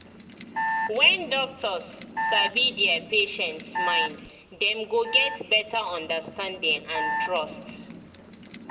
when doctors sabi their patients mind them go get better understanding and trust